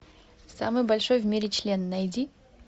самый большой в мире член найди